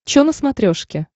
че на смотрешке